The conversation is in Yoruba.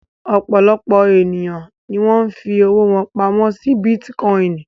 Ọ̀pọ̀lọpọ̀ ènìyàn ni wọ́n fi owó wọn pamọ́ si bítíkọ́ìnì